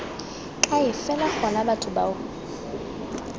kae fela gona batho bao